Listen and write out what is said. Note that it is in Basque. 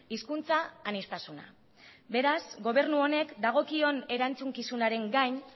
hizkuntza aniztasuna beraz gobernu honek dagokion erantzukizunaren gain